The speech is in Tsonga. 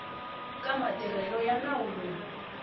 ka matirhelo ya nawu lowu